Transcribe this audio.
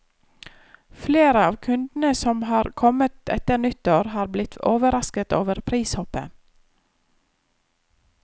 Flere av kundene som har kommet etter nyttår, har blitt overrasket over prishoppet.